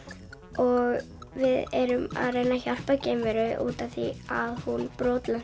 og við erum að reyna að hjálpa geimveru út af því að hún brotlenti